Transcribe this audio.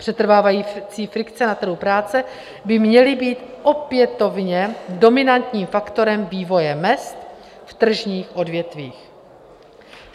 Přetrvávající frikce na trhu práce by měly být opětovně dominantním faktorem vývoje mezd v tržních odvětvích.